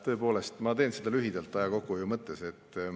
Tõepoolest, ma teen lühidalt aja kokkuhoiu mõttes.